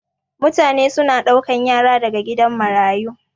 mutane suna daukan Yara daga gidan marayu